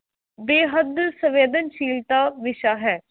ਬੇਹੱਦ ਸੰਵੇਦਨਸ਼ੀਲਤਾ ਵਿਸ਼ਾ ਹੈ।